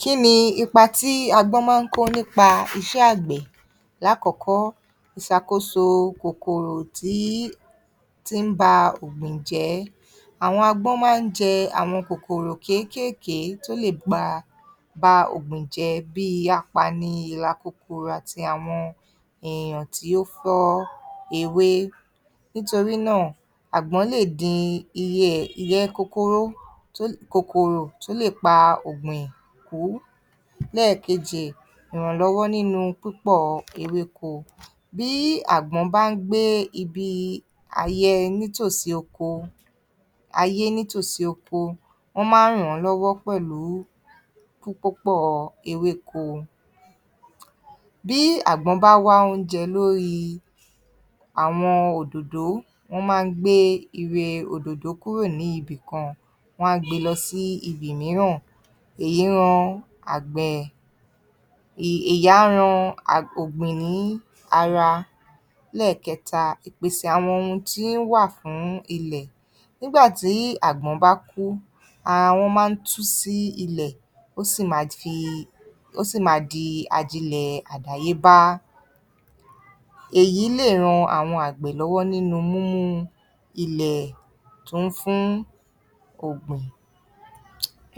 Kí ni ipa tí agbọ́n máa ń kó nípa iṣẹ́ àgbẹ̀? Lákọ̀ọ́kọ́, ìṣàkóso kòkòrò tí, tí ń ba ògbìn jẹ́. Àwọn agbọ́n máa ń jẹ àwọn kókòrò kéékèèké tó lè pa, ba òògùn jẹ́ bíi apani, ìrà kòkòrò àti àwọn èèyàn tí ó fọ́ ewé. Nítorí náà, àgbọn lè din iye, iyẹ́ kókóró, kòkòrò tó lè pa ogbìn kú. Lẹ́ẹ̀kejì, ìrànlọ́wọ́ nínú pípọ̀ ewéko. Bí àgbọ̀n bá ń gbé ibi ayẹ ní tòsí oko, ayé ní tòsí oko, wọ́n máa ń ràn án lọ́wọ́ pẹ̀lú kíkópọ̀ ewéko. Bí àgbọn bá wá oúnjẹ lóríì àwọn òdòdó, wọ́n máa ń gbé ire òdòdó kúrò ní ibì kan, wọ́n á gbé e lọ sí ibì mìíràn. Èyí ran àgbẹ̀, ìyá ran a, ògbìn ní ara. Lẹ́ẹ̀kẹta, ìpèsè àwọn ohun tí ń wà fún ilẹ̀. Nígbà tí àgbọ̀n bá kú, ara wọn máa ń tú sí ìlẹ̀, ó sì máa fi, ó sì máa di ajilẹ̀ àdáyébá. Èyí lè ran àwọn àgbẹ̀ lọ́wọ́ nínú múmú ilẹ̀ tún fún ògbìn.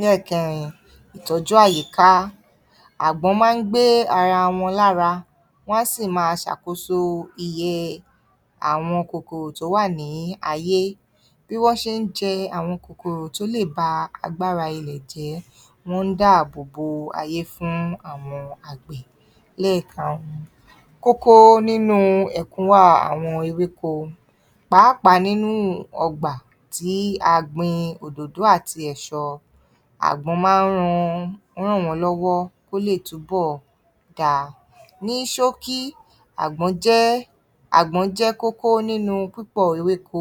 Lẹ́ẹ̀kẹrin, ìtọ́jú àyíká. Àgbọ̀n máa ń gbé ara wọn lára, wọ́n á sì máa ṣàkóso iye àwọn kòkòrò tó wà ní ayé, bí wọ́n ṣe ń jẹ àwọn kòkorò tó lè ba agbára ilẹ̀ jẹ́, wọ́n ń dáàbo bo ayé fún àwọn àgbẹ̀. Lẹ́ẹ̀karùn-ún, kókó nínú ẹ̀kúnwà àwọn ewéko pàápàá nínú ọgbà tí gbin òdòdó àti ẹ̀ṣọ. Àgbọ̀n máa ń ran, ràn wọ́n lọ́wọ́ kó lè túnbọ̀ dáa. Ní ṣókí, àgbọ̀n jẹ́, àgbọ̀n jẹ́ kókó nínú pípọ̀ ewéko,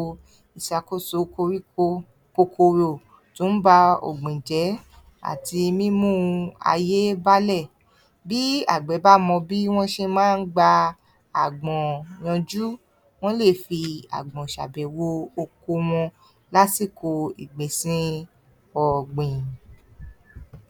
ìṣàkóso koríko, kòkòrò tó ń ba ògbìn jẹ́ àti mímú u ayé bálẹ̀. Bí àgbẹ̀ bá mọ bí wọ́n ṣe máa ń gba àgbọ̀n yanjú, wọ́n lè fi àgbọ̀n ṣabẹ̀wò oko wọn lásìkò ìgbìnsin ọ̀gbìn.